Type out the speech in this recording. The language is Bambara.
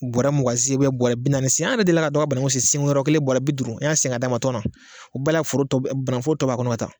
Bɔrɛ mugan sen ubiyɛn bɔrɛ bi naani sen an yɛrɛ deli ka dɔ ka banangu sen sen yɔrɔ kelen bɔra bi duuru an y'a sen ka d'a ma tɔn na o bɛɛ la foro tɔ bananguforor tɔ b'a kɔnɔ ka taa